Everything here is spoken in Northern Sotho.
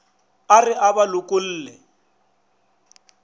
a re a ba lokolle